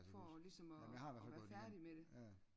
For ligesom at at være færdig med det